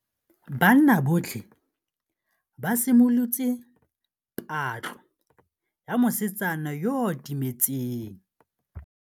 Banna botlhê ba simolotse patlô ya mosetsana yo o timetseng.